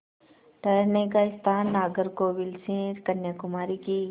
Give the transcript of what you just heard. ठहरने का स्थान नागरकोविल से कन्याकुमारी की